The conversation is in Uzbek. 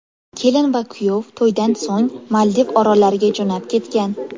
Kelin va kuyov to‘ydan so‘ng Maldiv orollariga jo‘nab ketgan.